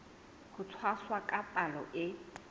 ho tshwasa ka palo e